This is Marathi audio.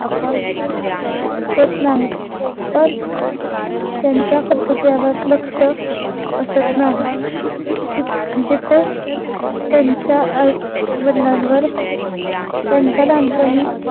होत नाहीत पण त्यांच्या करतूत वर लक्ष असत नाही तित जिथे त्यांच्या आईवडलांवर त्यांच्या लाहानपनी